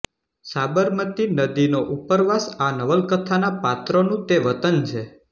સાબરમતી નદીનો ઉપરવાસ આ નવલકથાના પાત્રોનું તે વતન છે